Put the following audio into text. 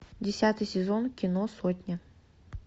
десятый сезон кино сотня